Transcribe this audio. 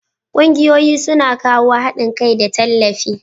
Kungiyoyi su na kawo haɗin kai da tallafi.